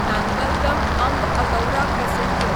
Nangal dam Amb Andaura passenger